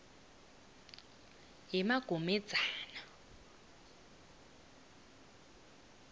yemagomedzana